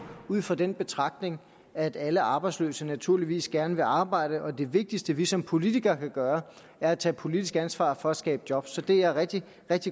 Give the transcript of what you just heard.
ud fra den betragtning at alle arbejdsløse naturligvis gerne vil arbejde og at det vigtigste vi som politikere kan gøre er at tage politisk ansvar for at skabe job så er rigtig